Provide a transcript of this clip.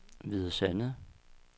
Hvide Sande